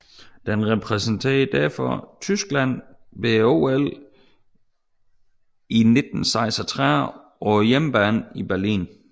Den repræsenterede derfor Tyskland ved OL 1936 på hjemmebane i Berlin